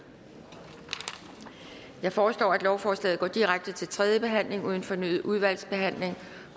jeg foreslår at lovforslaget går direkte til tredje behandling uden fornyet udvalgsbehandling